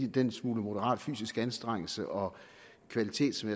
den smule moderat fysisk anstrengelse og kvalitet som